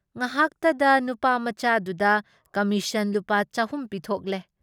ꯉꯍꯥꯛꯇꯗ ꯅꯨꯄꯥꯃꯆꯥꯗꯨꯗ ꯀꯃꯤꯁꯟ ꯂꯨꯄꯥ ꯆꯍꯨꯝ ꯄꯤꯊꯣꯛꯂꯦ ꯫